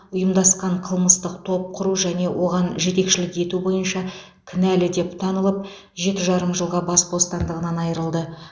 ұйымдасқан қылмыстық топ құру және оған жетекшілік ету бойынша кінәлі деп танылып жеті жарым жылға бас бостандығынан айырылды